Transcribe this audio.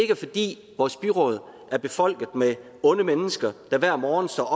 er fordi vores byråd er befolket med onde mennesker der hver morgen står